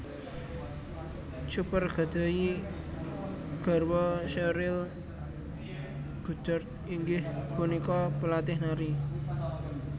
Cooper gadhahi garwa Sheryl Goddard inggih punika palatih nari